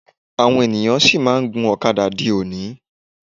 Àwọn ènìyàn sì máà ń gun ọ̀kadà di òní.